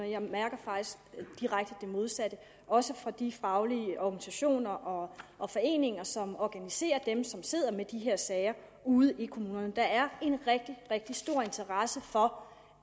jeg mærker faktisk direkte det modsatte også fra de faglige organisationer og og foreninger som organiserer dem som sidder med de her sager ude i kommunerne der er en rigtig rigtig stor interesse for